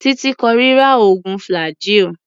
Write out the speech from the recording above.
Títí kórira oògùn flaggyl.